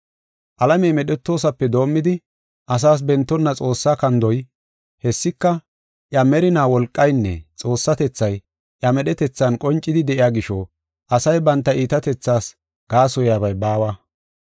Alamey medhetoosape doomidi, asaas bentonna Xoossaa kandoy, hessika iya merinaa wolqaynne Xoossatethay iya medhetethan qoncidi de7iya gisho, asay banta iitatethaas gaasoyabay baawa.